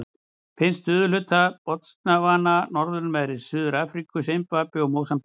Finnst í suðurhluta Botsvana, norðanverðri Suður-Afríku og í Simbabve og Mósambík.